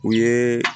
U ye